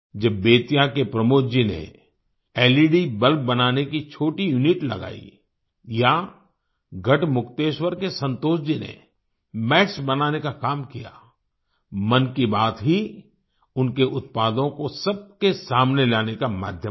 जब बेतिया के प्रमोद जी ने लेड बल्ब बनाने की छोटी यूनिट लगाई या गढ़मुक्तेश्वर के संतोष जी ने मैट्स बनाने का काम किया मन की बात ही उनके उत्पादों को सबके सामने लाने का माध्यम बना